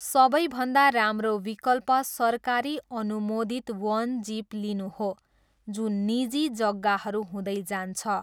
सबैभन्दा राम्रो विकल्प सरकारी अनुमोदित वन जिप लिनु हो जुन निजी जग्गाहरू हुँदै जान्छ।